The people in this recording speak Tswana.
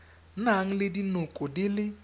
nang le dinoko di le